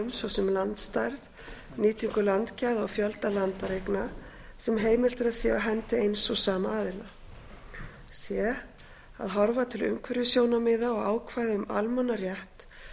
viðmiðum svo sem landstærð nýtingu landgæða og fjölda landareigna sem heimilt er að sé á hendi eins og sama aðila c að horfa til umhverfissjónarmiða og ákvæða um almannarétt